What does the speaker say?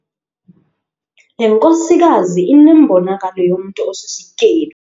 Le nkosikazi inembonakalo yomntu osisityebi.